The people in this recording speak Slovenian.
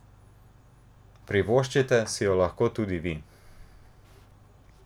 Privoščite si jo tudi vi!